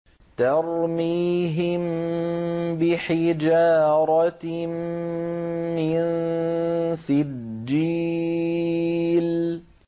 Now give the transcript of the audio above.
تَرْمِيهِم بِحِجَارَةٍ مِّن سِجِّيلٍ